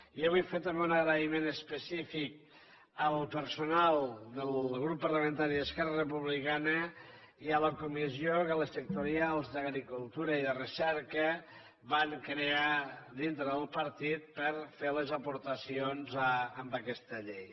i jo vull fer també un agraïment específic al personal del grup parlamentari d’esquerra republicana i a la comissió que a les sectorials d’agricultura i de recerca van crear dintre del partit per fer les aportacions a aquesta llei